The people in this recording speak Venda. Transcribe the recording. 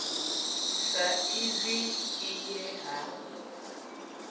sa izwi i ye ha